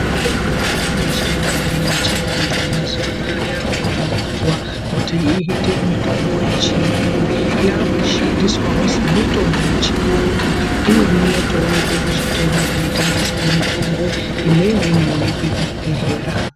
Mitombo yedu yechindau yechivantu mazuwa anaya yakuvandudzwa kuti iite mitombo yechiyungu. Yakushandiswawo semitombo yechiyungu imweni inotoonekwe kuzvitoro zvinotengeswe mitombo imweni inoonekwe kuzvibhedhlera.